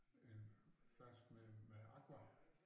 En flaske med med aqua